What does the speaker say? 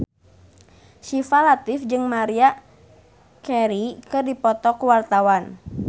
Syifa Latief jeung Maria Carey keur dipoto ku wartawan